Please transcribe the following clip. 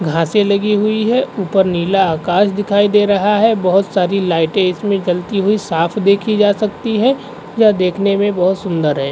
घासे लगी हुई हैं। ऊपर नीला आकाश दिखाई दे रहा है। बहोत सारी लाइटे इसमें जलती हुई साफ देखी जा सकती हैं। यह देखने मे बोहत सुंदर है।